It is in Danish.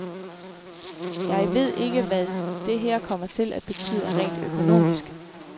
Jeg ved ikke, hvad det her kommer til at betyde rent økonomisk.